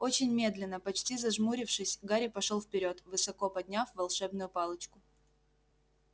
очень медленно почти зажмурившись гарри пошёл вперёд высоко подняв волшебную палочку